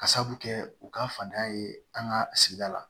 Ka sabu kɛ u ka fatanya ye an ka sigida la